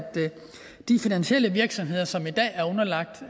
de finansielle virksomheder som i dag er underlagt